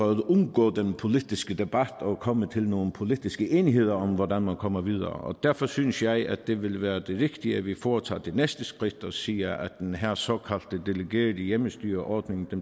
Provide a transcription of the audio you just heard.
at undgå den politiske debat på og komme til nogle politiske enigheder om hvordan man kommer videre derfor synes jeg at det ville være det rigtige at vi foretager det næste skridt og siger at den her såkaldte delegerede hjemmestyreordning